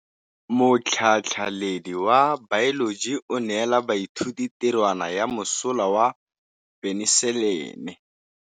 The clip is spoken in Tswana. Motlhatlhaledi wa baeloji o neela baithuti tirwana ya mosola wa peniselene.